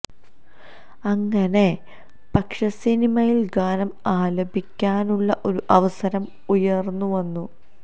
അങ്ങനെ പക്ഷെ സിനിമയിൽ ഗാനം ആലപിക്കാനുള്ള ഒരു അവസരം ഉയർന്നു വന്നു